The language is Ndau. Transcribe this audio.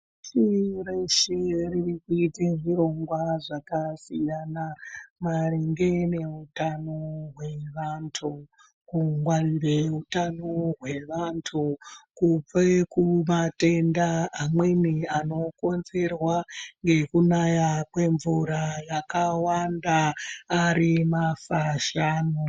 Pashi reshe riri kuite zvirongwa zvakasiyana maringe neutano hwevantu, kungwarire utano hwevantu, kubve kumatenda, amweni anokonzerwa nekunaya kwemvura yakawanda ,ari mafashamu.